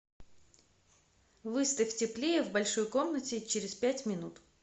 выставь теплее в большой комнате через пять минут